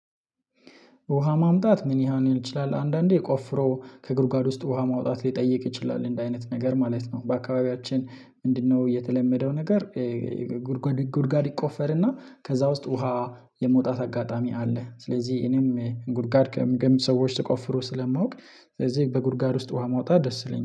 ውሃ ማምጣት ምን ሊሆን ይችላል አንዳንዴ ቆፍሮ ከግርጓድ ውስጥ ውሃ ማውጣት ሊጠይቅ ይችላል እንደ አይነት ነገር ማለት ነው። በአካባቢያችን ምንድነው የተለመደው ነገር? ጉድጓድ ጉድጓድ ይቆፈርና ከዛ ውስጥ ውሃ የምወጣት አጋጣሚ አለ። ስለዚህ እኔም ጉድጓድ ሚስ ሰዎች ሲቆፍሩ ስለማውቅ። ስለዚህ በጉድጓድ ውስጥ ውሃ ማውጣት ደስ ይለኛል